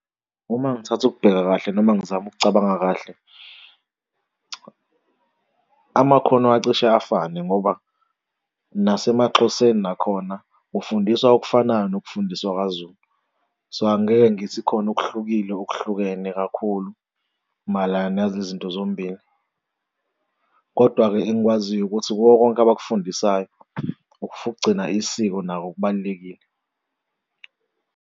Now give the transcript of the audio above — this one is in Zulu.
Uma ngithatha ukubheka kahle noma ngizama ukucabanga kahle, amakhono acishe afane ngoba nasemaXhoseni nakhona kufundiswa okufanayo nokufundiswa kwaZulu. So, angeke ngithi khona okuhlukile okuhlukene kakhulu mayelana nalezi zinto zombili. Kodwa-ke engikwaziyo ukuthi kuko konke abafundisayo ukugcina isiko nako kubalulekile.